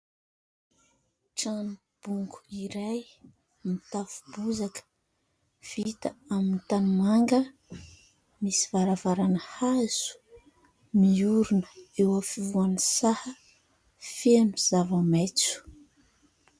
Trano bongo iray no mitafo bozaka, vita amin'ny tanimanga, misy varavarana hazo, miorina eo afovoan'ny saha feno zava-maitso.